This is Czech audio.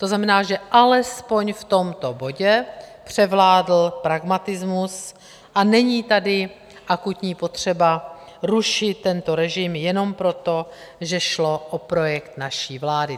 To znamená, že alespoň v tomto bodě převládl pragmatismus, a není tady akutní potřeba rušit tento režim jenom proto, že šlo o projekt naší vlády.